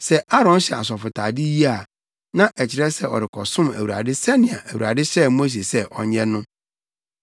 Sɛ Aaron hyɛ asɔfotade yi a, na ɛkyerɛ sɛ ɔrekɔsom Awurade sɛnea Awurade hyɛɛ Mose sɛ ɔnyɛ no.